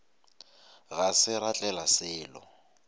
ga se ra tlela selo